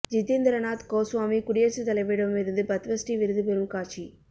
ஜித்தேந்திர நாத் கோஸ்வாமி குடியரசு தலைவரிடம் இருந்து பத்ம ஸ்ரீ விருது பெறும் காட்சி